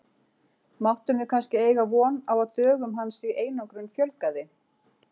Máttum við kannski eiga von á að dögum hans í einangrun fjölgaði?